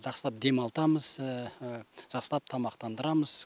жақсылап демалтамыз жақсылап тамақтандырамыз